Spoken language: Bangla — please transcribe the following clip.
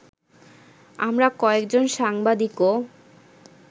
আমরা কয়েকজন সাংবাদিকও